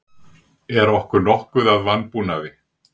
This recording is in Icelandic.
Er okkur nokkuð að vanbúnaði?